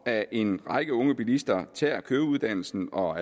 at en række unge bilister tager køreuddannelsen og